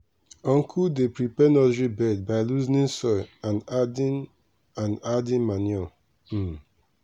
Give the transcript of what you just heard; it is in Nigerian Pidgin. i dey hold um watering can um down make e no scatter um seedling root.